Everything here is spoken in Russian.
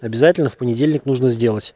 обязательно в понедельник нужно сделать